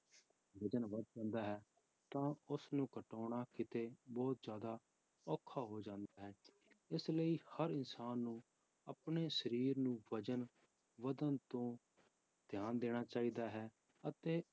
ਵਜ਼ਨ ਵੱਧ ਜਾਂਦਾ ਹੈ ਤਾਂ ਉਸਨੂੰ ਘਟਾਉਣਾ ਕਿਤੇ ਬਹੁਤ ਜ਼ਿਆਦਾ ਔਖਾ ਹੋ ਜਾਂਦਾ ਹੈ, ਇਸ ਲਈ ਹਰ ਇਨਸਾਨ ਨੂੰ ਆਪਣੇ ਸਰੀਰ ਨੂੰ ਵਜ਼ਨ ਵੱਧਣ ਤੋਂ ਧਿਆਨ ਦੇਣਾ ਚਾਹੀਦਾ ਹੈ ਅਤੇ